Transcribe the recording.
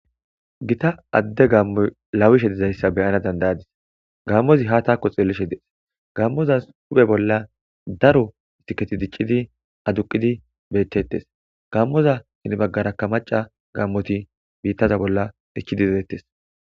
Gita adde gammo lawishe dizayssa beyana dandayadis gammozi ha taako xeelishe dees gammoza uphe bolla daro siketi diccidi aduqidi betettes gammoza sinbaggaraka maca gaammoti biittaza bolla ichchidi delettes